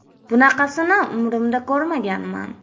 “Bunaqasini umrimda ko‘rmaganman”.